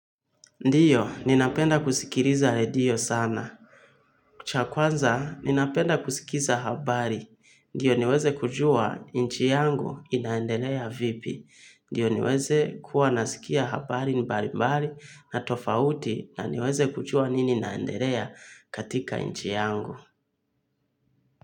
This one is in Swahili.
Ndiyo, ninapenda kusikiliza redio sana. Cha kwanza, ninapenda kusikiza habari. Ndiyo niweze kujua inchi yangu inaendelea vipi. Ndiyo niweze kuwa nasikia habari mbalimbali na tofauti na niweze kujua nini naendelea katika inchi yangu.